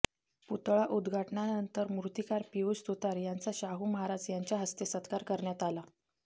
पुतळा उद्घाटनानंतर मूर्तीकार पियुष सुतार यांचा शाहू महाराज यांच्या हस्ते सत्कार करण्यात आला